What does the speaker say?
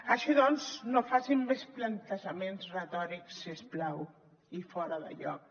així doncs no facin més plantejaments retòrics si us plau i fora de lloc